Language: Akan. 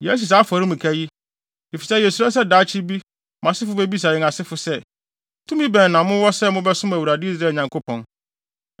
“Yɛasi saa afɔremuka yi, efisɛ yesuro sɛ daakye bi mo asefo bebisa yɛn asefo sɛ, ‘Tumi bɛn na mowɔ sɛ mobɛsom Awurade, Israel Nyankopɔn?